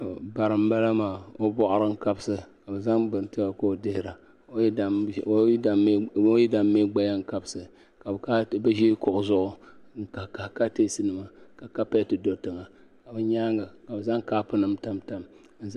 Bara n bala maa o bɔɣari n kabisi ka bi zaŋ bini ti o ka o dihira o yidana mi gbaya n kabisi ka bi ʒi kuɣu zuɣu n kahi kahi katinsi nima ka kapɛti do tiŋa ka bi nyaanga ka bi zaŋ kaapu nima tam tam.